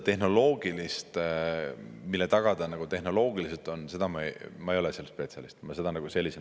Teate, seda, mille taga see tehnoloogiliselt on,, ma ei ole spetsialist.